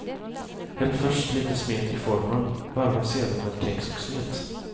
Häll först lite smet i formen, varva sedan med kex och smet.